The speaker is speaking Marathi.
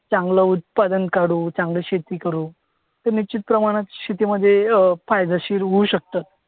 चांगलं उत्पादन काढू. चांगली शेती करू. तर निश्चितप्रमाणात शेतीमध्ये अं फायदेशीर होऊ शकतं.